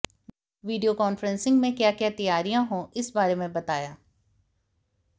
video conferencing में क्या क्या तैयारियां हो उस बारे में बताया